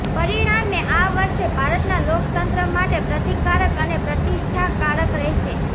પરિણામે આ વર્ષે ભારતના લોકતંત્ર માટે પ્રતિકારક અને પ્રતિષ્ઠાકારક રહેશે